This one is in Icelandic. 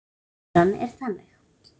Limran er þannig